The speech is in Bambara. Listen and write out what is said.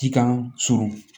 Cikan surun